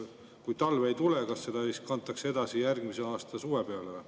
Kui talv ei tule, kas see summa siis kantakse edasi järgmise aasta suve peale?